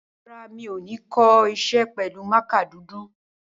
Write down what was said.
Rárá, mi ò ní kọ iṣẹ́ pẹ̀lú mákà dúdú.